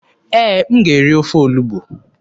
Ee, m ga-eri ofe olugbu.